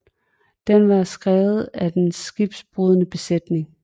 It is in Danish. Den var skrevet af den skibsbrudne besætning